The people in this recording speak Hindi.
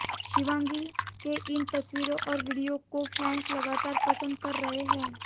शिवांगी के इन तस्वीरों और वीडियो को फैंस लगातार पसंद कर रहे हैं